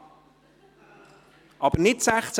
Barbara Streit, Sie sprechen aber nicht zu Artikel 16;